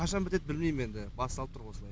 қашан бітеді білмейм енді басталып тұр осылай